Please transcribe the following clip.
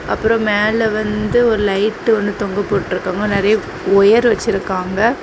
அப்ரோ மேல வந்து ஒரு லைட் ஒன்னு தொங்க போட்ருக்காங்க நிறைய ஒயர் வச்சிருக்காங்க.